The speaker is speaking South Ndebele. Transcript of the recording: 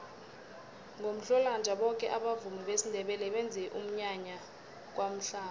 ngomhlolanja boke abavumi besindebele benza umnyanya kwamhlanga